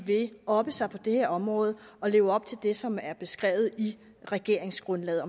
vil oppe sig på det her område og leve op til det som er beskrevet i regeringsgrundlaget